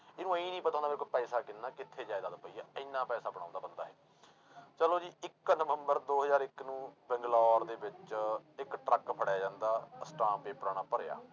ਇਹਨੂੰ ਇਉਂ ਨੀ ਪਤਾ ਹੁੰਦਾ ਮੇਰੇ ਕੋਲ ਪੈਸਾ ਕਿੰਨਾ ਕਿੱਥੇ ਜ਼ਾਇਦਾਦ ਪਈ ਆ, ਇੰਨਾ ਪੈਸਾ ਬਣਾਉਂਦਾ ਬੰਦਾ ਇਹ, ਚਲੋ ਜੀ ਇੱਕ ਨਵੰਬਰ ਦੋ ਹਜ਼ਾਰ ਇੱਕ ਨੂੰ ਬੰਗਲੋਰ ਦੇ ਵਿੱਚ ਇੱਕ ਟਰੱਕ ਫੜਿਆ ਜਾਂਦਾ ਅਸਟਾਮ ਪੇਪਰਾਂ ਨਾਲ ਭਰਿਆ।